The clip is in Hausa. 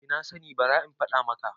A nasani bari in faɗa maka